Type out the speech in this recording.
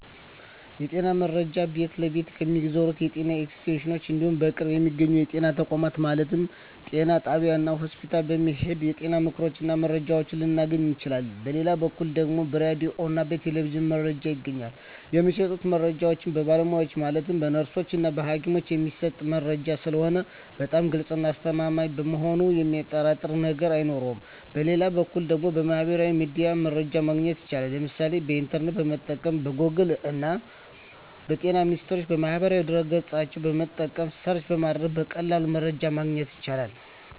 የጤና መረጃ ቤት ለቤት ከሚዞሩት የጤና ኤክስቴንሽኖች እንዲሁም በቅርብ በሚገኙ የጤና ተቋማት ማለትም ጤና ጣቢያዎች እና ሆስፒታል በመሔድ የጤና ምክሮችን እና መረጃዎችን ልናገኝ እንችላለን በሌላ በኩል ደግሞ በራዲዮ እና በቴሌቪዥንም መረጃ ይገኛል የሚሰጡት መረጃዎች በባለሙያዎች ማለትም በነርሶች እና በሀኪሞች የሚሰጥ መረጂ ስለሆነ በጣም ግልፅ እና አስተማማኝ በመሆኑ የሚያጠራጥር ነገር አይኖረውም በሌላ በኩል ደግሞ በሚህበራዊ ሚዲያ መረጃ ማግኘት ይቻላል የምሳሌ ኢንተርኔትን በመጠቀም ከጎግል እና በጤና ሚኒስቴር ማህበራዊ ድህረ ገፅን በመጠቀም ሰርች በማድረግ በቀላሉ መረጃን ማግኘት ይቻላል።